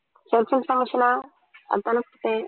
self information ஆ அதான குடுத்தேன்